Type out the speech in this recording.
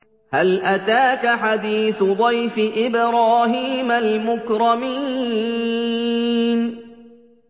هَلْ أَتَاكَ حَدِيثُ ضَيْفِ إِبْرَاهِيمَ الْمُكْرَمِينَ